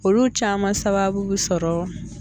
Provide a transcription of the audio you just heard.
Olu caman sababu bi sɔrɔ